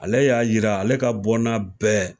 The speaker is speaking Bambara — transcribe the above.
Ale y'a yira ale ka bɔnna bɛɛ